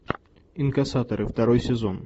инкассаторы второй сезон